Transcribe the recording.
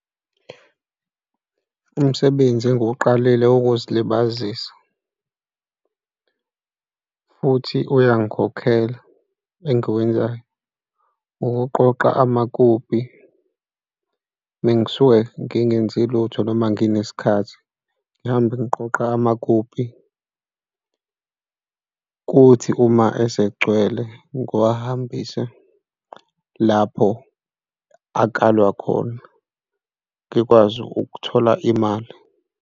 Umsebenzi engiwuqalile wokuzilibazisa futhi uyongikhokhela engiwenzayo ukuqoqa amakopi uma ngisuke ngingenzi lutho noma nginesikhathi ngihambe ngiqoqa amakopi, kuthi uma esegcwele ngiwahambise lapho akalwa khona ngikwazi ukuthola imali.